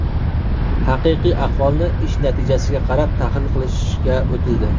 haqiqiy ahvolni ish natijasiga qarab tahlil qilishga o‘tildi.